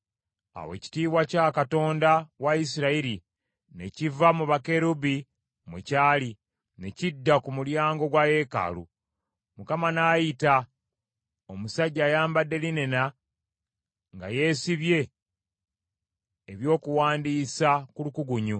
Awo ekitiibwa kya Katonda wa Isirayiri ne kiva mu bakerubi mwe kyali, ne kidda ku mulyango gwa yeekaalu. Mukama n’ayita omusajja ayambadde linena nga yeesibye ebyokuwandiisa ku lukugunyu,